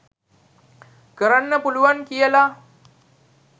කරන්න පුළුවන් කියල